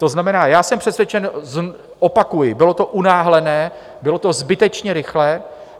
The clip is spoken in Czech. To znamená, já jsem přesvědčen, opakuji, bylo to unáhlené, bylo to zbytečně rychlé.